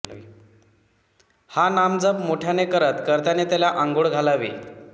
हा नामजप मोठ्याने करत कर्त्याने त्याला आंघोळ घालावी